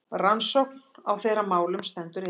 Rannsókn á þeirra málum stendur yfir.